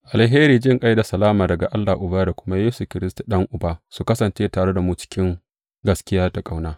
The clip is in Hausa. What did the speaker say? Alheri, jinƙai da kuma salama daga Allah Uba da kuma Yesu Kiristi, Ɗan Uba, su kasance tare da mu cikin gaskiya da ƙauna.